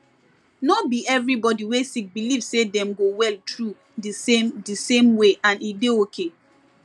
no be every body wey sick believe say dem go well through di same di same way and e dey okay